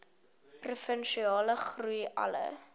provinsiale groei alle